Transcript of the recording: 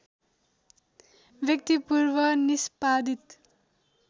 व्यक्ति पूर्व निष्पादित